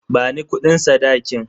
Bani kudin sadakin.